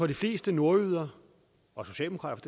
de fleste nordjyder og socialdemokrater